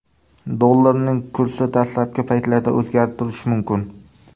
Dollarning kursi dastlabki paytlarda o‘zgarib turishi mumkin.